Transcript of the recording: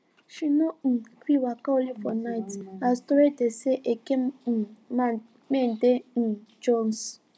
she no um gree waka only am for night as torie dey say eke um men dey um jones